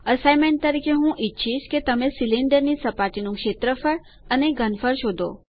assignment તરીકે હું ઈચ્છીશ કે તમે સિલિન્ડર ની સપાટીનું ક્ષેત્રફળ અને ઘનફળ શોધો